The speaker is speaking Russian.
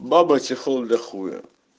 баба чехол для хуя